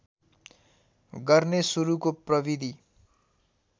गर्ने सुरुको प्रविधि